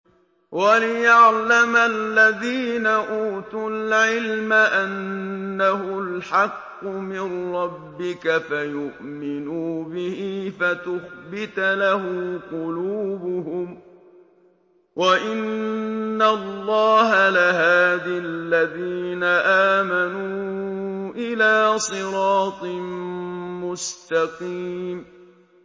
وَلِيَعْلَمَ الَّذِينَ أُوتُوا الْعِلْمَ أَنَّهُ الْحَقُّ مِن رَّبِّكَ فَيُؤْمِنُوا بِهِ فَتُخْبِتَ لَهُ قُلُوبُهُمْ ۗ وَإِنَّ اللَّهَ لَهَادِ الَّذِينَ آمَنُوا إِلَىٰ صِرَاطٍ مُّسْتَقِيمٍ